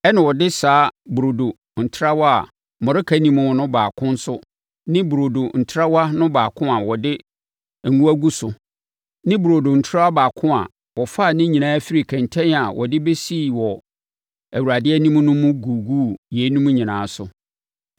ɛnna ɔde saa burodo ntrawa a mmɔreka nni mu no baako nso ne burodo ntrawa no baako a wɔde ngo agu so ne burodo ntrawa baako a wɔfaa ne nyinaa firii kɛntɛn a wɔde bɛsii hɔ wɔ Awurade anim no mu guguu yeinom nyinaa so.